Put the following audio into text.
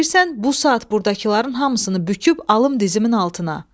İstəyirsən bu saat burdakıların hamısını büküb alım dizimin altına.